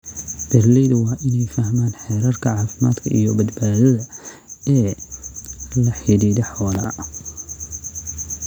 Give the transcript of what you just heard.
Beeralaydu waa inay fahmaan xeerarka caafimaadka iyo badbaadada ee la xidhiidha xoolaha.